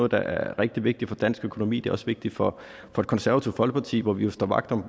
der er rigtig vigtigt for dansk økonomi og også vigtigt for det konservative folkeparti hvor vi jo står vagt om